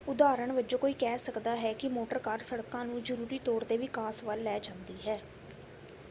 ਉਦਾਹਰਣ ਵਜੋਂ ਕੋਈ ਕਹਿ ਸਕਦਾ ਹੈ ਕਿ ਮੋਟਰ ਕਾਰ ਸੜਕਾਂ ਨੂੰ ਜ਼ਰੂਰੀ ਤੌਰ 'ਤੇ ਵਿਕਾਸ ਵੱਲ ਲੈ ਜਾਂਦੀ ਹੈ।